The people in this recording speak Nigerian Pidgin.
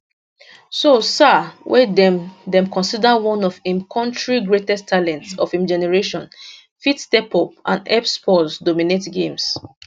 so sarr wey dem dem consider one of im kontri greatest talents of im generation fit step up and help spurs dominate games